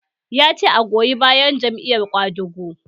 Ya ce 'Goyi bayan Jam'iyar Ƙwadago'!